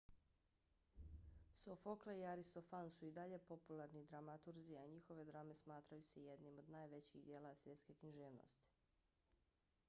sofokle i aristofan su i dalje popularni dramaturzi a njihove drame smatraju se jednim od najvećih djela svjetske književnosti